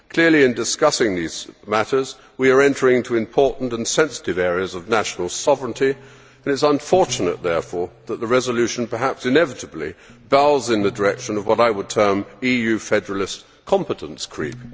Clearly in discussing these matters we are entering into important and sensitive areas of national sovereignty and it is unfortunate, therefore, that the resolution, perhaps inevitably, bows in the direction of what I would term EU federalist competence creep'.